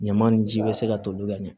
Ɲama nin ji bɛ se ka toli ka ɲɛ